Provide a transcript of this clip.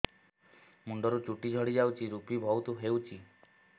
ମୁଣ୍ଡରୁ ଚୁଟି ଝଡି ଯାଉଛି ଋପି ବହୁତ ହେଉଛି